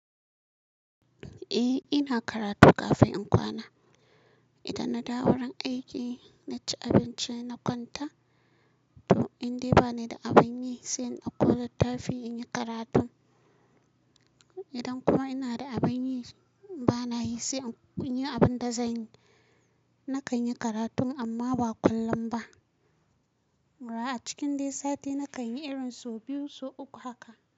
Eh ina karatu kafin in kwana. Idan na dawo ran aiki, na ci abinci na kwanta. To indai bani da abin yi sai in dauƙo littafi in yi karatu. Idan kuma ina da abin yi bana yi sai in yi abin da zanyi. Na kan yi karatu amma ba kullum ba. Ba acikin dai sati na kan yi irin sau biyu so uku haka.